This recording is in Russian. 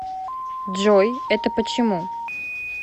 джой это почему